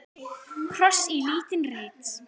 Kross í lítinn reit.